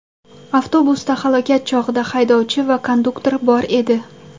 Avtobusda halokat chog‘ida haydovchi va konduktor bor edi.